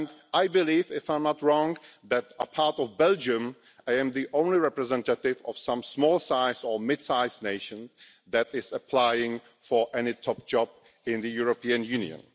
I believe if I am not wrong that apart from Belgium, I am the only representative of a small or midsize nation who is applying for a top job in the European Union.